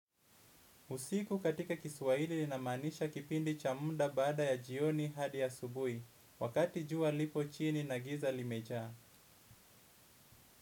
Usiku katika kiswahili inamaanisha kipindi cha muda baada ya jioni hadi asubuhi, wakati jua lipo chini na giza limejaa.